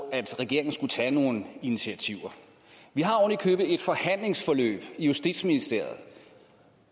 at regeringen skulle tage nogle initiativer vi har oven i købet et forhandlingsforløb i justitsministeriet